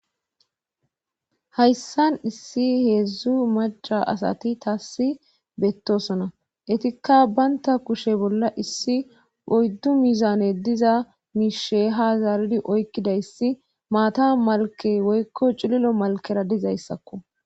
hayssan issi heedzdzu maca asati taassi bettosona etikka baynta kushe bolla issi oyddu mizane diza miishe ha zaaridi oykkidayssi maata malke woykko cililo malkera dizayssakko